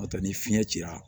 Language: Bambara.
N'o tɛ ni fiɲɛ cira